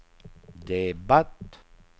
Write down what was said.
debatt